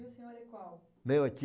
E o senhor é qual? O meu é